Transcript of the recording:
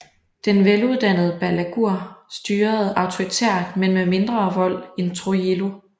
Den veluddannede Balaguer styrede autoritært men med mindre vold end Trujillo